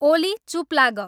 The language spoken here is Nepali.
ओली चुप लाग